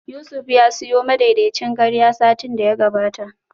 Yusuf ya siyo madaidaicin karya satin da ya gabata